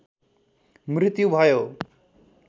मृत्यु भयो।